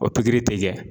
O pikiri tɛ kɛ